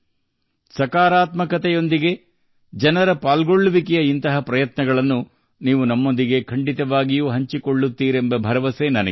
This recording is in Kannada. ಸಕಾರಾತ್ಮಕತೆಗೆ ಸಂಬಂಧಿಸಿದ ಸಾರ್ವಜನಿಕ ಸಹಭಾಗಿತ್ವದ ಇಂತಹ ಪ್ರಯತ್ನಗಳನ್ನು ನೀವು ನನ್ನೊಂದಿಗೆ ಹಂಚಿಕೊಳ್ಳುತ್ತಿರುತ್ತೀರಿ ಎಂಬ ಸದೃಢ ನಂಬಿಕೆ ನನಗಿದೆ